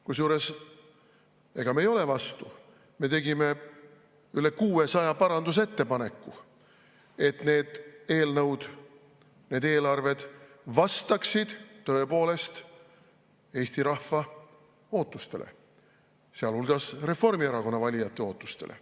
Kusjuures me ei ole vastu, me tegime üle 600 parandusettepaneku, et need eelarved vastaksid tõepoolest Eesti rahva ootustele, sealhulgas Reformierakonna valijate ootustele.